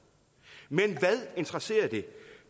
men hvad interesserer det